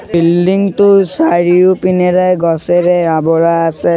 Building টোৰ চাৰিওপিনেৰে গছেৰে আৱৰা আছে।